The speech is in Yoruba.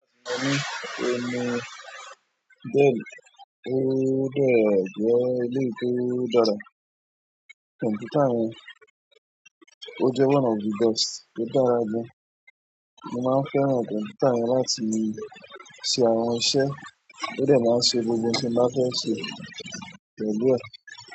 Oun mi Dell, o dẹ, jẹẹ eleyi ti o dára. Kọǹpútà yẹn, o jẹ one of the best to dára gan. Mo máa fẹ́ràn kọǹpútà yẹn láti ṣe àwọn iṣẹ́, ó dẹ̀ máa ṣe gbogbo ohun tí mo bá fẹ́ ṣe pẹ̀lú ẹ̀.